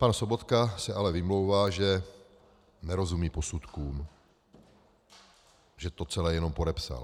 Pan Sobotka se ale vymlouvá, že nerozumí posudkům, že to celé jenom podepsal.